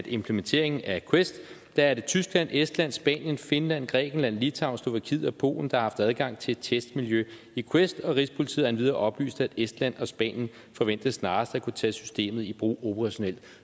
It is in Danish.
implementeringen af quest er det tyskland estland spanien finland grækenland litauen slovakiet og polen der har haft adgang til et testmiljø i quest og rigspolitiet har endvidere oplyst at estland og spanien forventes snarest at kunne tage systemet i brug operationelt